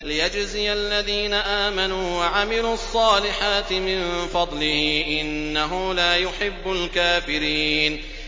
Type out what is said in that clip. لِيَجْزِيَ الَّذِينَ آمَنُوا وَعَمِلُوا الصَّالِحَاتِ مِن فَضْلِهِ ۚ إِنَّهُ لَا يُحِبُّ الْكَافِرِينَ